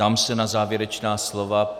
Ptám se na závěrečná slova.